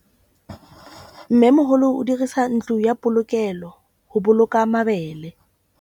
Mmêmogolô o dirisa ntlo ya polokêlô, go boloka mabele.